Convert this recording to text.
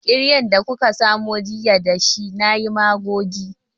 Kiryan da kuka samo jiya da shi nayi magogi